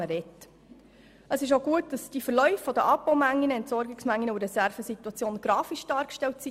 Es ist auch gut, dass die Verläufe der Abbau- und Entsorgungsmengen sowie der Reservesituation grafisch dargestellt sind.